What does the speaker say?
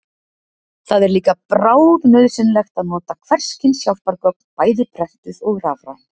Það er líka bráðnauðsynlegt að nota hvers kyns hjálpargögn, bæði prentuð og rafræn.